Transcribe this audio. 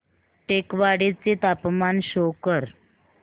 टेकवाडे चे तापमान शो कर